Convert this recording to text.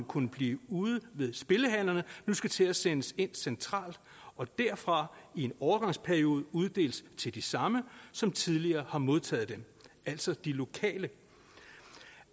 kunne blive ude ved spillehallerne nu skal til at sendes ind centralt og derfra i en overgangsperiode uddeles til de samme som tidligere har modtaget dem altså de lokale